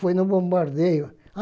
Foi no bombardeio.